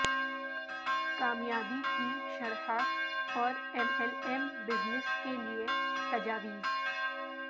کامیابی کی شرح اور ایم ایل ایم بزنس کے لئے تجاویز